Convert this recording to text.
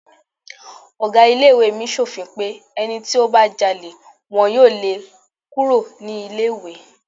Ọ̀gá ilé ìwé mi sòfin pé ẹni tí ó bá jalè wọn yóò lé e kúrò ní ilé ìwé.